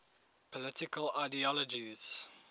political ideologies